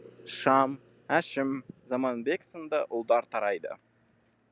шам әшім заманбек сынды ұлдар тарайды